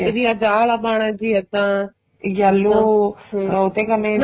ਵੀ ਅੱਜ ਆ ਵਾਲਾ ਪਾਣਾ ਜੀ ਇੱਦਾਂ yellow ਓ ਤੇ ਕਰਨੇ